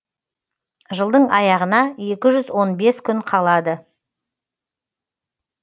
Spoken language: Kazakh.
жылдың аяғына екі жүз он бес күн қалады